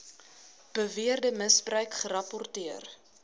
beweerde misbruik gerapporteer